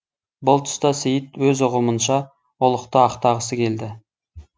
бұл тұста сейіт өз ұғымынша ұлықты ақтағысы келді